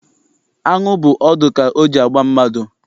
Aṅụ bụ ọdụ ka o ji agba mmadụ.